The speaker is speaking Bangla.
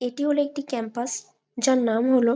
এটি হল একটি ক্যাম্পাস যার নাম হল।